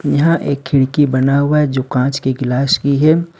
यहां एक खिड़की बना हुआ है जो कांच के गिलास की है।